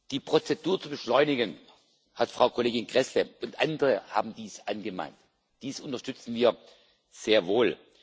Die Prozedur zu beschleunigen Frau Kollegin Gräßle und andere haben dies angemahnt dies unterstützen wir sehr wohl.